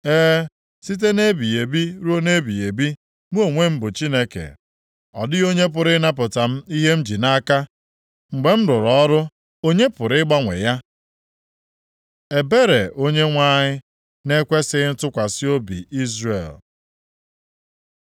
“E, site nʼebighị ebi ruo nʼebighị ebi, mụ onwe m bụ Chineke. Ọ dịghị onye pụrụ ịnapụta m ihe m ji nʼaka. Mgbe m rụrụ ọrụ, onye pụrụ ịgbanwe ya?” Ebere Onyenwe anyị, na-ekwesighị ntụkwasị obi Izrel